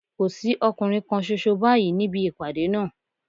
Kò sí ọkùnrin kan ṣoṣo báyìí níbi ìpàdé náà